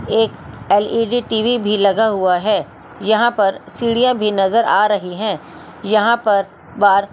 एक L E D T V भी लगा हुआ है यहां पर सीढ़ियां भी नजर आ रही हैं यहां पर बार--